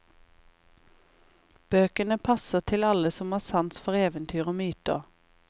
Bøkene passer til alle som har sans for eventyr og myter.